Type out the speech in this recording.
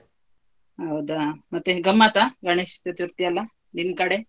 ಹೌದಾ, ಮತ್ತೆ ಗಮ್ಮತ ಗಣೇಶ ಚತುರ್ಥಿ ಎಲ್ಲ ನಿಮ್ಕಡೆ?